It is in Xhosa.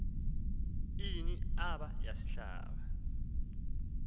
ini aaba yasihlaba